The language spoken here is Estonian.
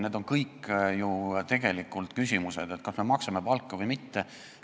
Need on kõik ju need küsimused, et kas me maksame palka või mitte.